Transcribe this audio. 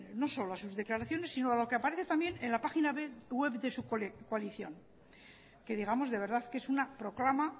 no solo a sus declaraciones sino a lo que aparece también en la página web de su coalición que digamos de verdad que es una proclama